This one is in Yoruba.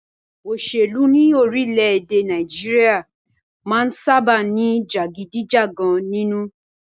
Òṣèlú ní orílẹ̀-èdè Nàìjíríà máà ń sábáà ní jàgídíjàgan nínú.